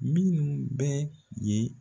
Minnu bɛ yen